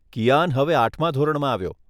કિયાન હવે આઠમાં ધોરણમાં આવ્યો.